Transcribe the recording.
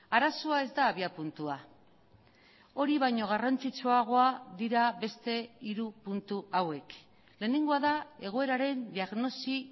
arazoa ez da abiapuntua hori baino garrantzitsuagoa dira beste hiru puntu hauek lehenengoa da egoeraren diagnosi